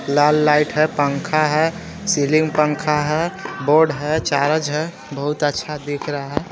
लाल light है पंखा है सीलिंग पंखा है बोर्ड है चार्ज है बहुत अच्छा दिख रहा है.